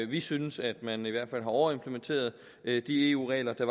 vi synes at man i hvert fald har overimplementeret de eu regler der